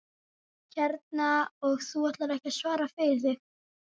Hérna, og þú ætlar ekki að svara fyrir þig?